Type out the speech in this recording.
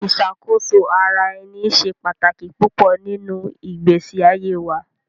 Iṣakoso-ara-ẹni ṣe pataki pupọ ninu igbesi aye wa